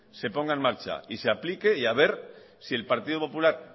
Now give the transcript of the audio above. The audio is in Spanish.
se ponga en marcha y se aplique y a ver si el partido popular